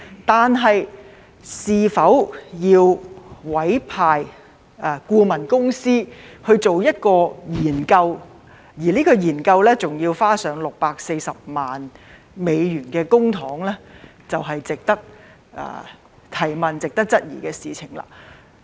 但是，是否要委聘顧問公司去做研究，而且還要花上640萬美元的公帑，這是令人質疑的事情。